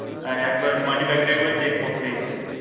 হ্যাঁ একবার money bag টা একবার check করতেই হবে